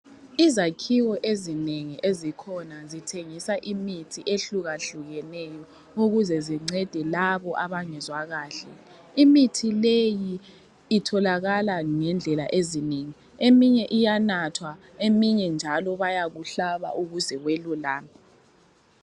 Izakhiwo ezinengi ezikhona zithengisa imithi ehlukahlukeneyo ukuze incede labo abangezwa kahle. Imithi leyi itholakala ngendlela ezinengi eminye iyanathwa eminye njalo bayakuhlaba ukuze welulame.